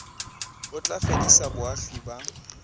o tla fedisa boagi ba